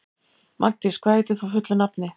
Magndís, hvað heitir þú fullu nafni?